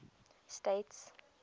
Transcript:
states